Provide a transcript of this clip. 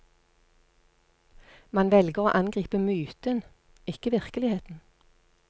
Man velger å angripe myten, ikke virkeligheten.